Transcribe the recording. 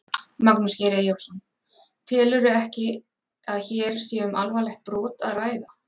Magnús Geir Eyjólfsson: Telurðu ekki að hér sé um alvarlegt brot að ræða?